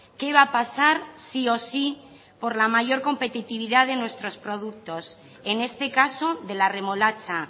qué va a pasar sí o sí por la mayor competitividad de nuestros productos en este caso de la remolacha